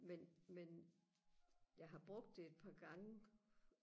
men men jeg har brugt det et par gange